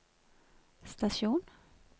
stasjon